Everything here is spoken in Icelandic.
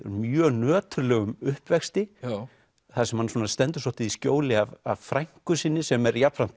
mjög nöturlegum uppvexti þar sem hann stendur svolítið í skjóli af frænku sinni sem er jafnframt